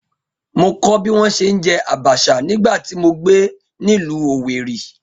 Mo kọ́ bí wọ́n ṣe ń jẹ abacha nígbà tí mo gbé nílùú Owerri